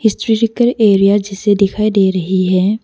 Physical area जिसे दिखाई दे रही है।